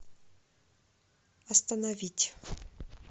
остановить